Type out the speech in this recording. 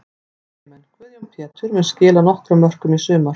Miðjumenn: Guðjón Pétur mun skila nokkrum mörkum í sumar.